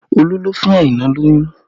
Olu ló fún Aina lóyún